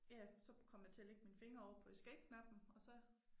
Ja så kom jeg til at lægge mine fingre ovre på escape knappen og så